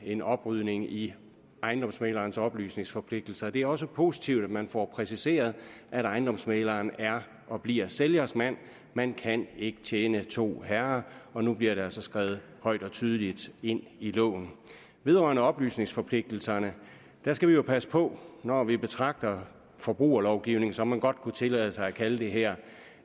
en oprydning i ejendomsmæglerens oplysningsforpligtelser det er også positivt at man får præciseret at ejendomsmægleren er og bliver sælgers mand man kan ikke tjene to herrer og nu bliver det altså skrevet højt og tydeligt ind i loven vedrørende oplysningsforpligtelserne skal vi jo passe på når vi betragter forbrugerlovgivningen som man jo godt kunne tillade sig at kalde det her